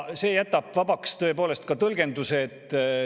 " See jätab tõepoolest tõlgenduse vabaks.